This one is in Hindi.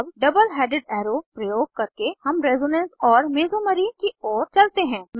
अब डबल हेडेड एरो प्रयोग करके हम रेजोनेंस और मेसोमेरी की ओर चलते हैं